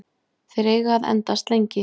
Þeir eiga að endast lengi.